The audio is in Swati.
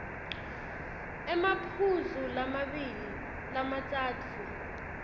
emaphuzu lamabili lamatsatfu